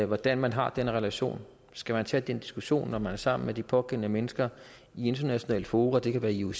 hvordan man har den relation skal man tage den diskussion når man er sammen med de pågældende mennesker i internationale fora det kan være ioc